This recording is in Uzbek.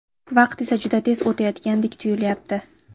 Vaqt esa juda tez o‘tayotgandek tuyulyapti..